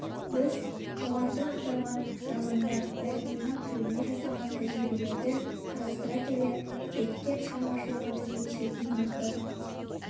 біз жоғарыда аталған романдар мәтінінің тіліне жасаған тәжірибелерді қарастыра келе беккет шығармашылығымен үндесетінін анықтадық